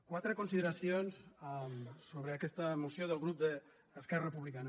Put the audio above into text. quatre consideracions sobre aquesta moció del grup d’esquerra republicana